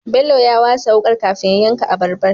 Bello ya wasa wukar kafin ya yanka abarbar